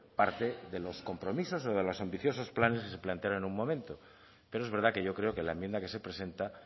parte de los compromisos o de los ambiciosos planes que se plantearon en un momento pero es verdad que yo creo que la enmienda que se presenta